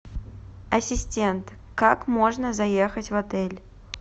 ассистент как можно заехать в отель